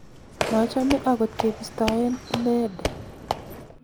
machome agot kebiston ine de